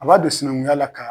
A b'a don sinankunya la ka